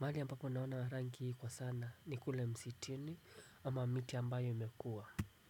Mahali ambapo naona rangi hii kwa sana ni kule msituni ama miti ambayo imekua.